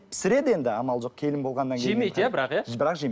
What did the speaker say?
пісіреді енді амал жоқ келін болғаннан жемейді иә бірақ иә бірақ жемейді